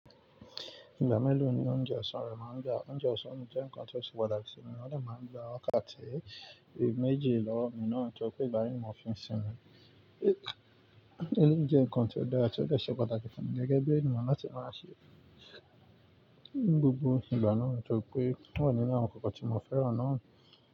Ìgbà mélòó ni oúnjẹ ọ̀sán rẹ máa ń dà? Oúnjẹ ọ̀sán jẹ́ nǹkan tó ṣe pàtàkì sí mi, ó de máa ń gba ọ̀kàn tabi méji lọ́wo mi náà torí pé ìgbà mìíràn mo fi ń sínmi. Èyí jẹ́ nǹkan tó dára, tí ó ṣe pàtàkì fún mi gẹ́gẹ́ bí ènìyàn láti máa ṣe ni gbogbo ìgbà náà torí pé o wa nínú àwọn nǹkan tí mo fẹ́ràn náà.